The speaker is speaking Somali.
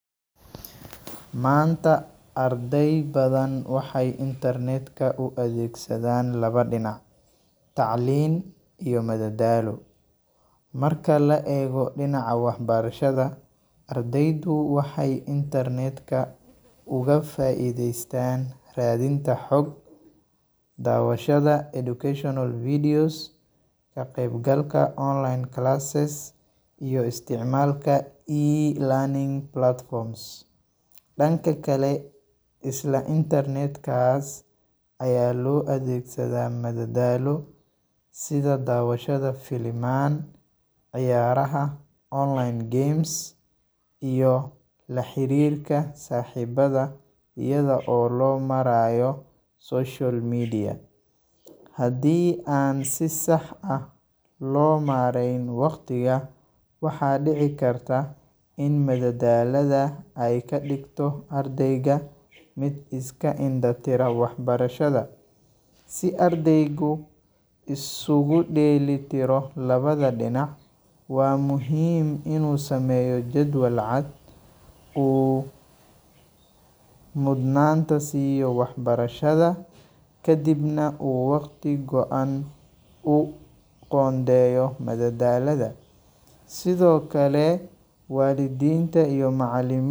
Maanta arday badan waxay internet-ka u adeegsadaan laba dhinac: tacliin iyo madadaalo. Marka la eego dhinaca waxbarashada, ardaydu waxay internet-ka uga faa’iideystaan raadinta xog, daawashada educational videos, ka qaybgalka online classes, iyo isticmaalka e-learning platforms. Dhanka kale, isla internet-kaas ayaa loo adeegsadaa madadaalo sida daawashada filimaan, ciyaaraha online games, iyo la xiriirka saaxiibada iyada oo loo marayo social media. Haddii aan si sax ah loo maareyn waqtiga, waxaa dhici karta in madadaalada ay ka dhigto ardayga mid iska indha tira waxbarashada. Si ardaygu isugu dheelli tiro labada dhinac, waa muhiim inuu sameeyo jadwal cad, uu mudnaanta siiyo waxbarashada, kadibna uu waqti go’an u qoondeeyo madadaalada. Sidoo kale, waalidiinta iyo macallimi.